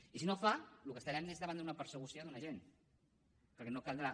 i si no ho fa el que estarem és davant d’una persecució d’un agent perquè no caldrà